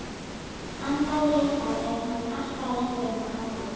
Andaði léttar þegar hann arkaði lengra inn á ganginn.